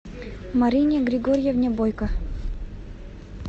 марине григорьевне бойко